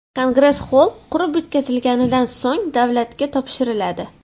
Kongress xoll qurib bitkazilganidan so‘ng davlatga topshiriladi.